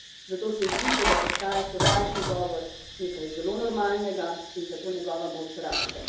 Zato se zdi, kot da postaja sovražni govor nekaj zelo normalnega in zato njegova moč raste.